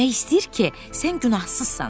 Demək istəyir ki, sən günahsızsan.